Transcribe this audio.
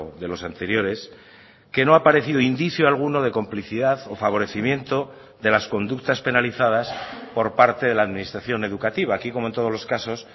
de los anteriores que no ha aparecido indicio alguno de complicidad o favorecimiento de las conductas penalizadas por parte de la administración educativa aquí como en todos los casos